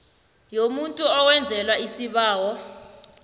yomuntu owenzelwa isibawo